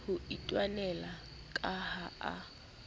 ho itwanela ka ha a